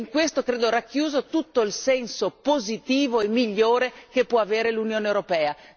In questo, credo, è racchiuso tutto il senso positivo e migliore che può avere l'Unione europea.